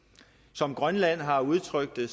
som grønland har udtrykt det